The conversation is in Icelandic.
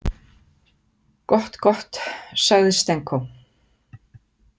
Gott, gott, sagði Stenko.